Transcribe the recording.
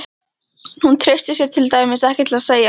Hún treysti sér til dæmis ekki til að segja